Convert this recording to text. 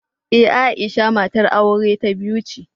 Ee, Aisha matar aure ta biyu ce.